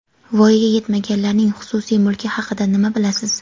Voyaga yetmaganlarning xususiy mulki haqida nima bilasiz?.